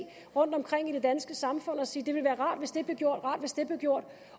omkring i det danske samfund og sige det ville være rart hvis det blev gjort og rart hvis det blev gjort